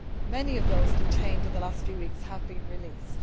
Many of those detained in the last few weeks have been released.